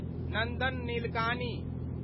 Nandan Nilekani